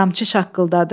Qamçı şaqqıldadı.